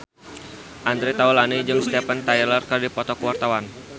Andre Taulany jeung Steven Tyler keur dipoto ku wartawan